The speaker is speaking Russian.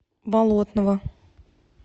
болотного